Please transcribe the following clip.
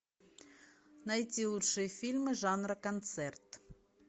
найти лучшие фильмы жанра концерт